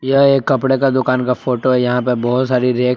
यह एक कपड़े का दुकान का फोटो है यहां पे बहुत सारी रैक